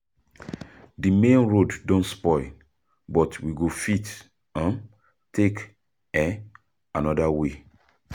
Di main road don spoil, but we go fit take another way.